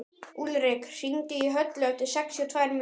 Úlrik, hringdu í Höllu eftir sextíu og tvær mínútur.